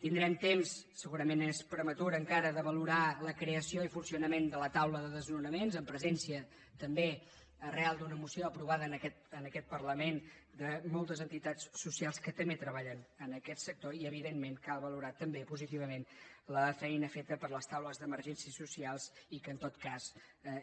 tindrem temps segurament és prematur encara de valorar la creació i funcionament de la taula de desnonaments amb presència també arran d’una moció aprovada en aquest parlament de moltes entitats socials que també treballen en aquest sector i evidentment cal valorar també positivament la feina feta per les taules d’emergències socials i que en tot cas